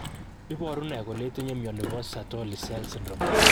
Iporu ne kole itinye mioni po Sertoli cell only syndrome?